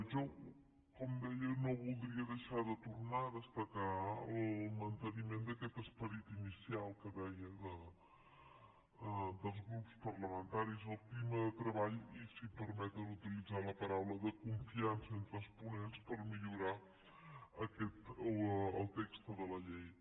jo com deia no voldria deixar de tornar a destacar el manteniment d’aquest esperit inicial que deia dels grups parlamentaris el clima de treball i si em permeten utilitzar la paraula de confiança entre els ponents per millorar el text de la llei